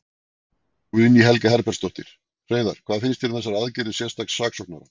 Guðný Helga Herbertsdóttir: Hreiðar, hvað finnst þér um þessar aðgerðir sérstaks saksóknara?